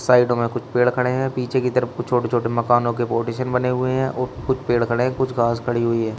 Side में कुछ पेड़ खड़े हैं पीछे की तरफ को छोटे छोटे मकान के कोटेशन बने हुए हैं और कुछ पेड़ खड़े हैं कुछ घास खड़ी हुई है।